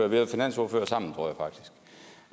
været finansordførere sammen